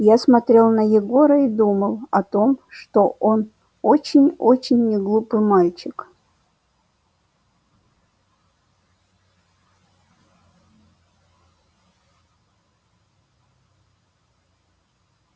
я смотрел на егора и думал о том что он очень очень неглупый мальчик